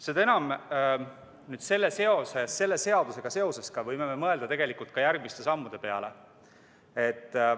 Seda enam tuleks selle seadusega seoses tegelikult mõelda ka järgmiste sammude peale.